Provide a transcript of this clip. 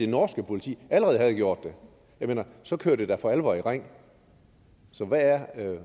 norske politik allerede havde gjort det jeg mener så kører det da for alvor i ring så hvad er